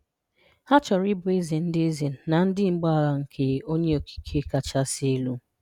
Ha chọrọ ịbụ ézè ndị ézè na ndị mgbagha nke onye okike kachasị elu.